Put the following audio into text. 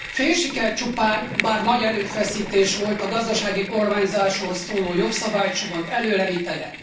Fél siker csupán, bár nagy erőfeszítés volt a gazdasági kormányzásról szóló jogszabálycsomag előrevitele.